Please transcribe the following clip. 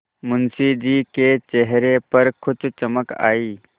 मुंशी जी के चेहरे पर कुछ चमक आई